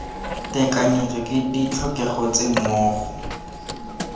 tekanyetso ke ditlhokego tse mmogo